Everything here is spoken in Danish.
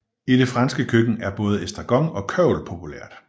I det franske køkken er både estragon og kørvel populært